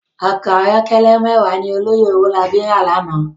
Òkò àyòkèlè mèwá ni òlòyé Owolabi rá làná